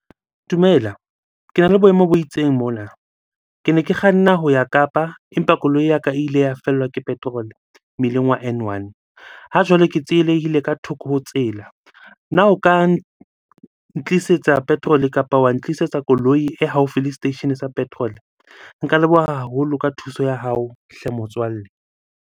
Dumela, kena le boemo bo itseng mona. Kene ke kganna ho ya Kapa empa koloi ya ka ile ya fellwa ke petrol-e mmileng wa N one. Ha jwale ke tsielehile ka thoko ho tsela. Na o ka ntlisetsa petrol-e kapa wa ntlisetsa koloi e haufi le seteisheneng sa petrol-e? Nka leboha haholo ka thuso ya hao hle motswalle.